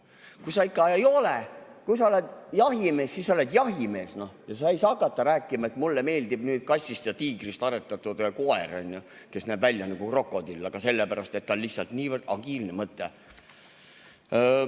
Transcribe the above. Kui sa oled jahimees, siis oled jahimees ja sa ei saa hakata rääkima, et mulle meeldib kassist ja tiigrist aretatud koer, kes näeb välja nagu krokodill, aga see on lihtsalt niivõrd agiilne mõtte.